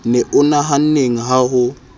ne o nahanneng ha o